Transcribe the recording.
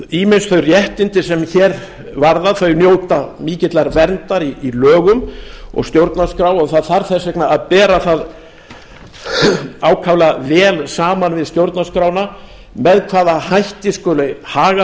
ýmis þau réttindi sem hér varða njóta mikillar verndar í lögum og stjórnarskrá og það þarf þess vegna að bera það ákaflega vel saman við stjórnarskrána með hvaða hætti skuli haga þessu